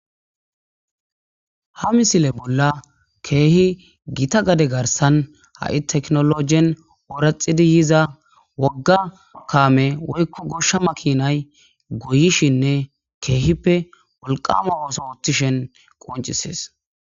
Ha misile bola keehi gita gade garsan ha7i tekinolojen oraxidi yiza wogga kaame woyko gosha makinay goyishine keehippe wolqama ooso othishin qoncises.